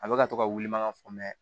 A bɛ ka to ka wuli mankan fɔ